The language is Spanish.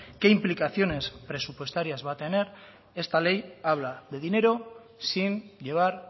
qué implicaciones presupuestarias va a tener esta ley habla de dinero sin llevar